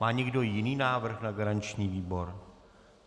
Má někdo jiný návrh na garanční výbor?